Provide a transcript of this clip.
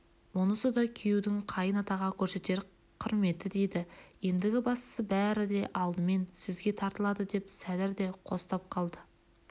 мұнысы да күйеудің қайын-атаға көрсетер құрметі еді ендігі бастың бәрі де алдымен сізге тартылады деп сәдір де қостап қалды